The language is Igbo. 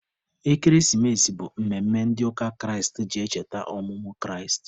Ekeresimesi bụ mmemme ndị ụka Kraịst ji echeta ọmụmụ Kraịst.